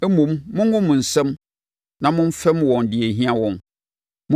Mmom, mongo mo nsam na momfɛm wɔn deɛ ɛhia wɔn.